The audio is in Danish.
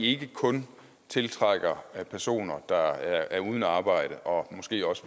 ikke kun tiltrækker personer der er uden arbejde og måske også